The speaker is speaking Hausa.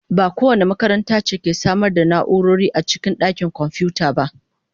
Ba kowace makaranta ce ke samar da na'urori a cikin dakin kwamfuta ba.